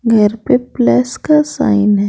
घर पे प्लस का साइन है।